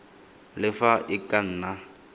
le fa e ka nna